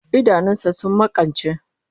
Idanun sa sun makance